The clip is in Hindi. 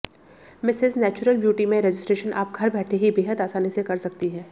मिसेज नेचुरल ब्यूटी में रजिस्ट्रेशन आप घर बैठे ही बेहद आसानी से कर सकती हैं